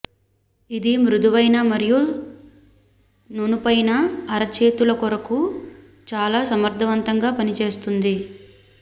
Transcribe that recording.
ఇది మృదువైన మరియు నునుపైన అరచేతుల కొరకు చాల సమర్ధవంతంగా పనిచేస్తుంది